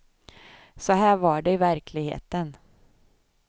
Så här var det i verkligheten.